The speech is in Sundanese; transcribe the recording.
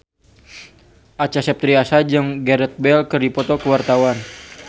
Acha Septriasa jeung Gareth Bale keur dipoto ku wartawan